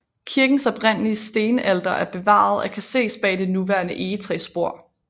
Kirkens oprindelige stenalter er bevaret og kan ses bag det nuværende egetræsbord